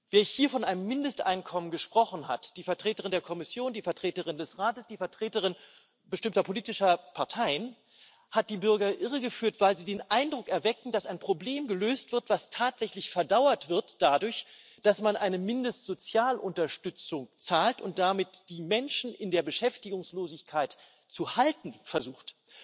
Wer hier von einem Mindesteinkommen gesprochen hat die Vertreterin der Kommission, die Vertreterin des Rates, die Vertreter bestimmter politischer Parteien hat die Bürger irregeführt, weil sie den Eindruck erwecken, dass ein Problem gelöst wird, das tatsächlich dadurch verdauert wird, dass man eine Mindestsozialunterstützung zahlt und damit die Menschen in der Beschäftigungslosigkeit zu halten versucht.